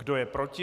Kdo je proti?